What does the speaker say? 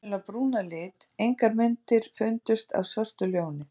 Ljón eru venjulega brún að lit, engar myndir fundust af svörtu ljóni.